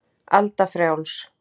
Alda frjáls.